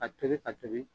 A tobi ka tobi